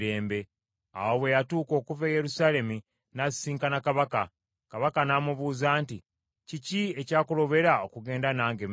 Awo bwe yatuuka okuva e Yerusaalemi n’asisinkana kabaka, kabaka n’amubuuza nti, “Kiki ekyakulobera okugenda nange Mefibosesi?”